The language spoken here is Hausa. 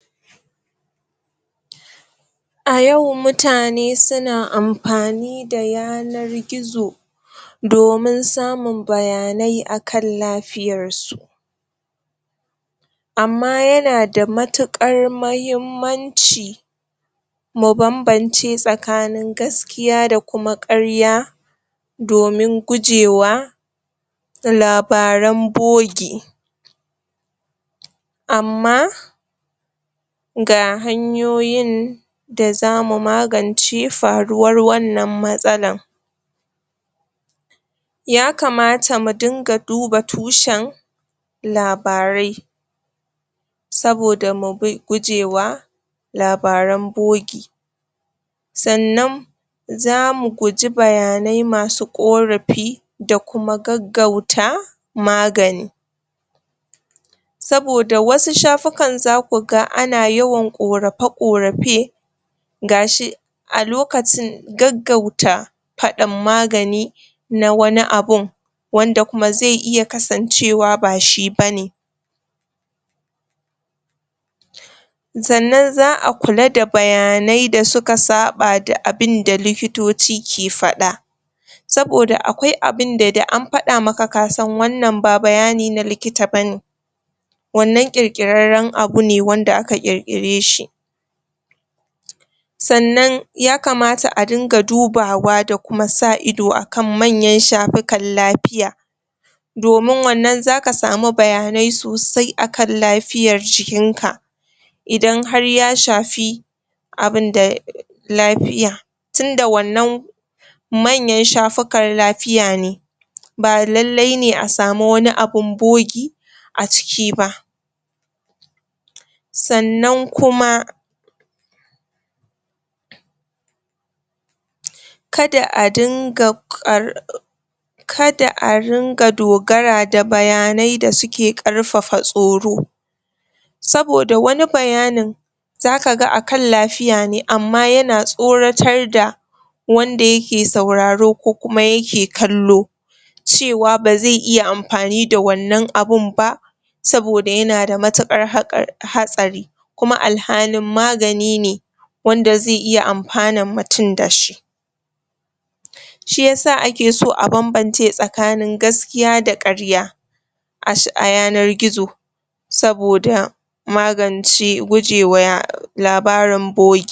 A yau, mutane su na amfani da yanar gizo domin samun bayanai akan lafiyar su ama ya na da matukar mahimanci mu bambance tsakanin gaskiya da kuma karya domin guje wa labaren boge ama ga hanyoyin da za mu maganci faruwan wannan matsalan ya kamata mu dinga duba tushan labarai saboda mu bi guje wa labaran boge sannan za mu guje bayanai masu korafi da kuma gagauta magani saboda wasu shafukan za ku gan ana yawan korafa korafe gashi a lokacin gagauta fadan magani na wani abun wanda kuma zai iya kasancewa ba shi bane sannan za a kula da bayanai da suka saba da abun da likitoci ke fada saboda akwai abin da, da an fada ma ka, ka san wannan ba bayani na likita bane wannan kirkireran abu ne wanda aka kirkire shi sannan ya kamata a dinga dubawa da kuma sa ido, akan manyan shafikan lafiya domin wannan, za ka samu bayanai sosai akan lafiyar jikin ka idan har ya shafi abun da lafiya tunda wannan manyan shafukar lafiya ne ba lailai ne a samu wani abun boge a ciki ba sannan kuma kada a dinga um kada a ringa dogara da bayanai da su ke karfafa tsoro saboda wani bayanin za ka gan a kan lafiya ne, ama ya na tsoratar da wanda ya ke sauraro ko kuma ya ke kallo cewa ba zai iya amfani da wannan abun ba saboda ya na da matukar haqa, hatsari kuma al'hanin magani ne wanda zai iya amfanan mutum da shi shiyasa ake so a bambance tsakanin gaskiya da karya um a yanar gizo saboda maganci guje wa labarin boge